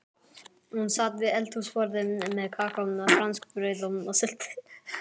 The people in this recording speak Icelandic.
Hún sat við eldhúsborðið með kakó, franskbrauð og sultu.